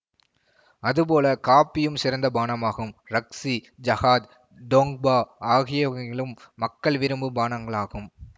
அதுபோல காபியும் சிறந்த பானமாகும் ரக்ஷி ஜஹாத் டோங்பா ஆகியவைகளும் மக்கள் விரும்பும் பானங்களாகும்